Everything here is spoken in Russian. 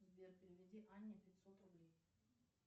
сбер переведи анне пятьсот рублей